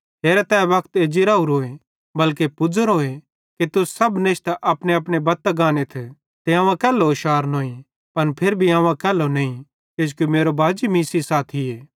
हेरा तै वक्त एज्जी राओरोए बल्के पुज़ोरोए कि तुस सब नेशतां अपनेअपने बत्तां गानेथ ते अवं अकैल्लो शारनोईं पन फिरी भी अवं अकैल्लो नईं किजोकि मेरो बाजी मीं सेइं साथीए